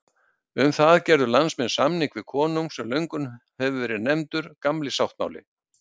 Um það gerðu landsmenn samning við konung sem löngum hefur verið nefndur Gamli sáttmáli.